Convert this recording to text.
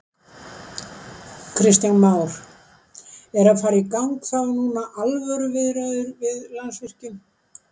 Kristján Már: Eru að fara í gang þá núna alvöru viðræður við Landsvirkjun?